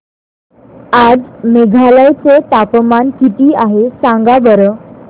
आज मेघालय चे तापमान किती आहे सांगा बरं